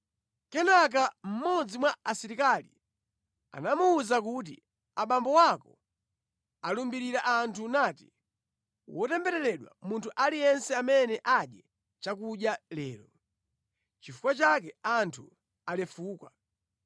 Kenaka mmodzi mwa Asilikali anamuwuza kuti, “Abambo ako alumbirira anthu nati, ‘Wotembereredwa munthu aliyense amene adye chakudya lero.’ Nʼchifukwa chake anthu alefuka.”